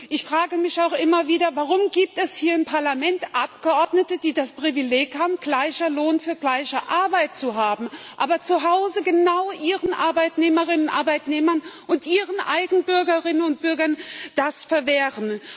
Ich frage mich auch immer wieder, warum es hier im Parlament Abgeordnete gibt, die das Privileg haben, gleichen Lohn für gleiche Arbeit zu haben, zu Hause ihren Arbeitnehmerinnen und Arbeitnehmern und ihren eigenen Bürgerinnen und Bürgern aber genau das verwehren.